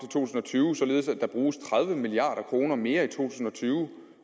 tusind og tyve således at der bruges tredive milliard kroner mere i to tusind og tyve